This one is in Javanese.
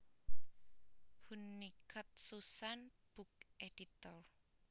Hunnicutt Susan book editor